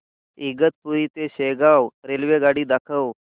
इगतपुरी ते शेगाव रेल्वेगाडी दाखव